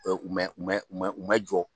U mɛ, u mɛ ma jɔ